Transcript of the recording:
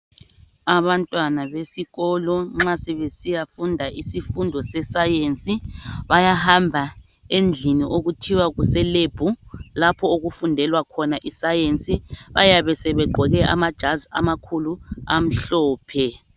Abantwana besikolo nxa sebesiyafunda isifundo seScience ,bayahamba endlini okuthiwa kuseLab lapho okufundelwa khona iScience bayabe sebegqoke amajazi amakhulu amhlophe.